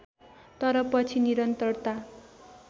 तर पछि निरन्तरता